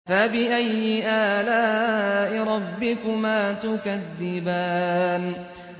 فَبِأَيِّ آلَاءِ رَبِّكُمَا تُكَذِّبَانِ